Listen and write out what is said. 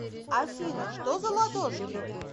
афина что за ладошки